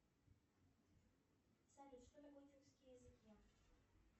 салют что такое тюркские языки